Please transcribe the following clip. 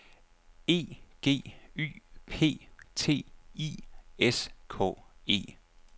E G Y P T I S K E